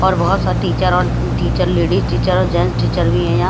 और बहुत सारे टीचर और टीचर लेडीज टीचर और जेंस टीचर भी हैं यहां।